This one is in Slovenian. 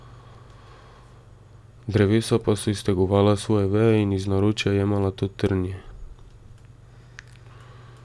Drevesa pa so iztegovala svoje veje in ji iz naročja jemala to trnje.